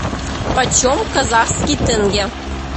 почем казахский тенге